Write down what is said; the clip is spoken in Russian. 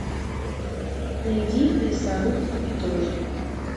найди лесоруб и дождь